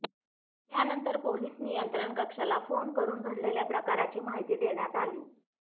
त्यानंतर पोलीस नियंत्रण कक्षाला फोन करून घडलेल्या प्रकाराची माहिती देण्यात आली